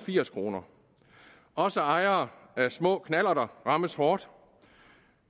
firs kroner også ejere af små knallerter rammes hårdt